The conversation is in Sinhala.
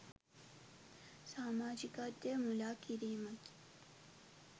සාමාජිකත්වය මුළා කිරීමකි.